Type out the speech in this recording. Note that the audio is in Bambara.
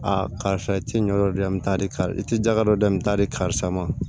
A karisa i ti ɲɔgɔri dɔ di yan n bɛ taa di karisa i tɛ jaga dɔ di yan n bɛ taa di karisa ma